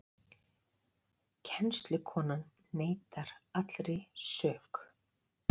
Kennslukonan neitar allri sök